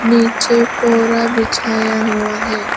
नीचे पूरा बिछाया हुआ है।